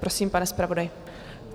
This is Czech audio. Prosím, pane zpravodaji.